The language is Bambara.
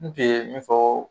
N tun ye min fɔ